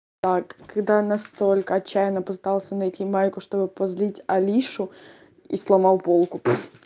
когда настолько отчаянно пытался найти майку чтобы позлить алишу и сломал полку